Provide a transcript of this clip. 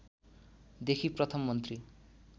देखि प्रथम मन्त्री